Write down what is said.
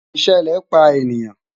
ìṣẹlẹ pa eniyan